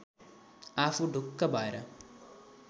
आफू ढुक्क भएर